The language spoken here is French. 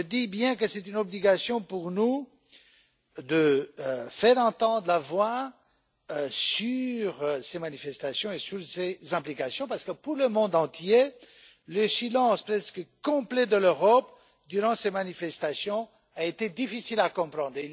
Donc, je dis bien que c'est une obligation pour nous de faire entendre la voix de l'Europe sur ces manifestations et sur ces implications, parce que pour le monde entier, le silence presque complet de l'Europe durant ces manifestations a été difficile à comprendre.